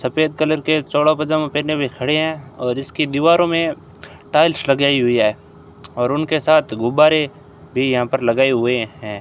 सफेद कलर के चौड़ा पजामा पहने हुए खड़े हैं और इसकी दीवारों में टाइल्स लगाई हुई है और उनके साथ गुब्बारे भी यहां पर लगाए हुए हैं।